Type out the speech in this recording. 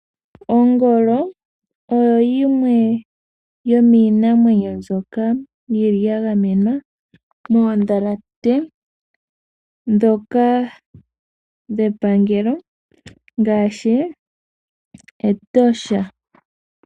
Ongolo oyo yimwe yomiinamwenyo mbyoka yili ya gamenwa moondhalate ndhoka dhepangelo ngaashi Etosha.